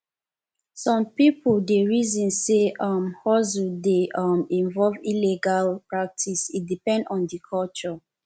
some pipo dey reason sey um hustle dey um involve illegal practice e depend on di culture